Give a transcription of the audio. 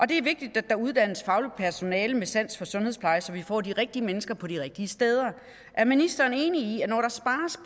det er vigtigt at der uddannes fagligt personale med sans for sundhedspleje så vi får de rigtige mennesker på de rigtige steder er ministeren enig i